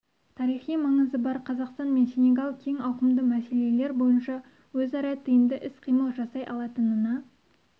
тарихи маңызы бар қазақстан мен сенегал кең ауқымды мәселелер бойынша өзара тиімді іс-қимыл жасай алатынына